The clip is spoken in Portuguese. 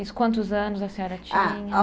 Isso, quantos anos a senhora tinha? Ah